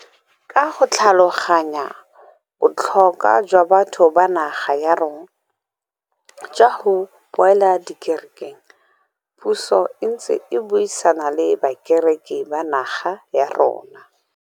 Ka go tlhaloganya botlho kwa jwa batho ba naga ya rona jwa go boela dikere keng, puso e ntse e buisana le bakereki ba naga ya rona.